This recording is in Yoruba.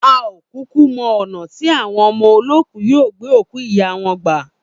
A ò kúkú mo̩ ò̩nà tí àwon o̩mo̩lóòkú yóò gbé òkú ìyá wo̩n gbà